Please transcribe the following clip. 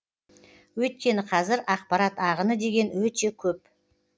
өйткені қазір ақпарат ағыны деген өте көп